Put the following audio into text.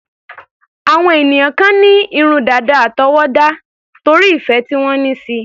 Àwọn ènìyàn kan ní irun dàda àtọwọ́dá, torí ìfẹ́ tí wọ́n ní síi.